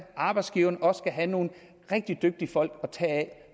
arbejdsgiverne også skal have nogle rigtig dygtige folk at tage af